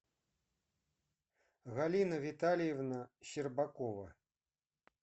галина витальевна щербакова